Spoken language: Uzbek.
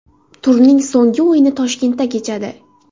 Turning so‘nggi o‘yini Toshkentda kechadi.